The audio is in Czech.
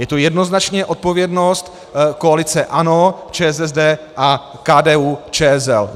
Je to jednoznačně odpovědnost koalice ANO, ČSSD a KDU-ČSL.